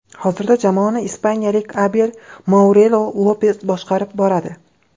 Hozirda jamoani ispaniyalik Abel Mourelo Lopez boshqarib boradi.